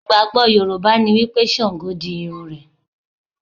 Ìgbàgbọ́ Yorùbá ni wípé Sàngó di irun rẹ̀.